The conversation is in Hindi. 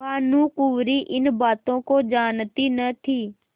भानुकुँवरि इन बातों को जानती न थी